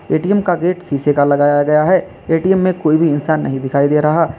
ATM का gate शीशे का लगाया गया है ए_टी_एम में कोई भी इंसान नहीं दिखाई दे रहा।